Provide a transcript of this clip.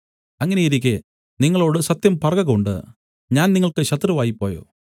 അങ്ങനെയിരിക്കെ നിങ്ങളോടു സത്യം പറകകൊണ്ട് ഞാൻ നിങ്ങൾക്ക് ശത്രുവായിപ്പോയോ